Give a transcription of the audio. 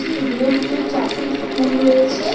রুমের ভিতরে চারটি টুল রয়েছে।